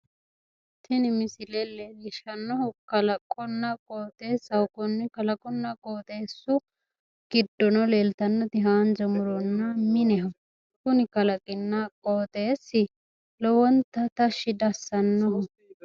Tini misile leellishshannohu kalaqonna qooxeessaho. Konni kalqunna qooxeessu giddono leeltannoti hsanja muronna mineho. Kuni kalaqinna qooxeessi lowonta tashshi diassannoho.